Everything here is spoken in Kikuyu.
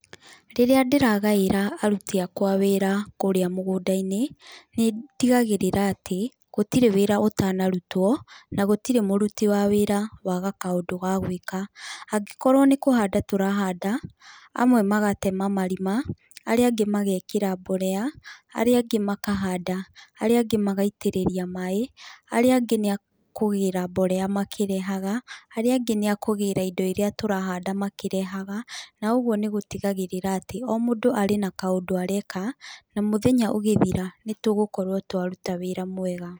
Rĩrĩ ndĩragaĩra aruti akwa a wĩra kũrĩa mũgũnda-inĩ, nĩndigagĩrĩra atĩ gũtirĩ wĩra ũtanarutwo na gũtirĩ mũruti wa wĩra waga kaũndũ ga gwĩka. Angĩkorwo nĩkũhanda tũrahanda, amwe magatema marima, arĩa angĩ magekĩra mborea, arĩa angĩ makahanda, arĩa angĩ magaitĩrĩria maaĩ, arĩa angĩ nĩ akũgĩra mborea makĩrehaga arĩa angĩ nĩakũgĩra indo iria tũrahanda makĩrehaga na ũguo nĩgũtigagĩrĩra atĩ o mũndũ arĩ na kaũndũ areka na mũthenya ũgĩthira nĩtũgũkorwo twaruta wĩra mwega.